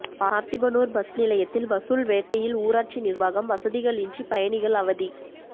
Parthibanur bus நிலையத்தில் வசூல் வேட்டையில் ஊராட்சி நிர்வாகம் வசதிகளின்றி பயணிகள் அவதி